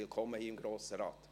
Willkommen im Grossen Rat!